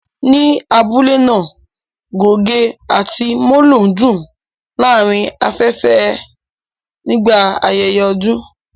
Ní abule náà, gògé àti molo ń dún láàárín afẹ́fẹ́ nígbà ayẹyẹ ọdún